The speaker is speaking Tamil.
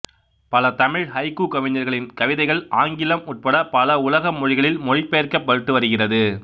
பல தமிழ் ஹைக்கூ கவிஞர்களின் கவிதைகள் ஆங்கிலம் உட்பட பல உலக மொழிகளில் மொழிபெயர்க்கப்பட்டு வருகிறது